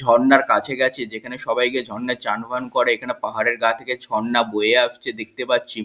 ঝর্ণার কাছে গেছে যেখানে সবাই গিয়ে ঝর্ণাই চান ফান করে এখানে পাহাড়ের গা থেকে ঝর্ণা বয়ে আসছে দেখতে পাচ্ছি।